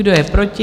Kdo je proti?